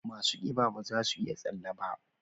Masu kiba ba za su iya tsalle ba.